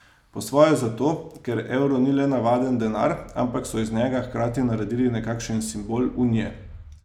Po svoje zato, ker evro ni le navaden denar, ampak so iz njega hkrati naredili nekakšen simbol Unije.